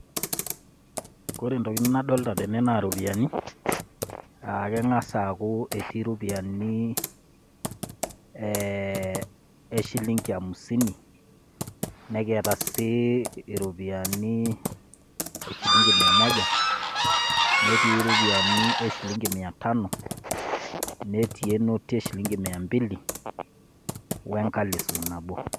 Ore ntokitin nadolta tene naa iropiani naake eng'asa aaku eti ropiani ee e shilingi hamsini, nekiata sii iropiani shillingi mia moja, netii ropiani e shillingi mia tano, netii e noti e shillingi mia mbili, we nkalifu nabo.